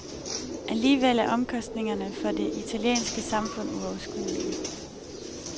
Alligevel er omkostningerne for det italienske samfund uoverskuelige.